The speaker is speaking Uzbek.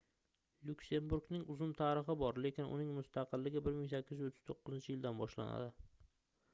lyuksemburgning uzun tarixi bor lekin uning mustaqilligi 1839-yildan boshlanadi